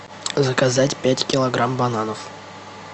заказать пять килограмм бананов